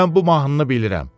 Mən bu mahnını bilirəm.